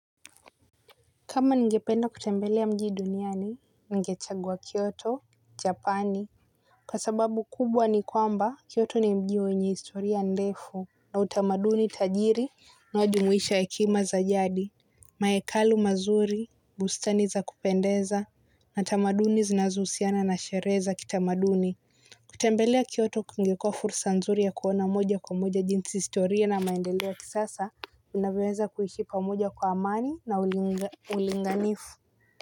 Kama ningependa kutembelea mjii duniani, ningechagua Kyoto, Japani. Kwa sababu kubwa ni kwamba, Kyoto ni mjii wenye historia ndefu, na utamaduni tajiri unaojumuisha hekima za jadi, maekalu mazuri, bustani za kupendeza, na tamaduni zinazusiana na sharehe za kitamaduni. Kutembelea kioto kungekua fursa nzuri ya kuona moja kwa moja jinsi historia na maendeleo kisasa unavioweza kuishi moja kwa amani na ulinga ulinganifu.